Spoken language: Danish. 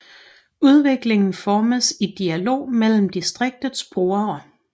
Udviklingen formes i dialog mellem distriktets brugere